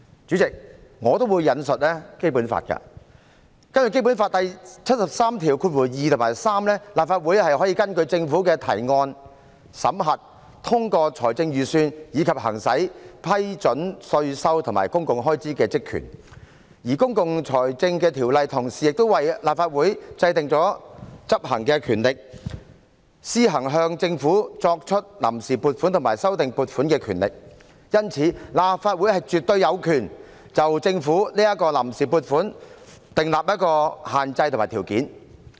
主席，我也會引述《基本法》，根據《基本法》第七十三條第二及三項，立法會可根據政府的提案，審核、通過財政預算，以及行使批准稅收和公共開支的職權，而《公共財政條例》同時為立法會制訂了執行權力，立法會可施行向政府批出臨時撥款和修訂撥款的權力，因此，立法會絕對有權就政府的臨時撥款訂立限制和條件。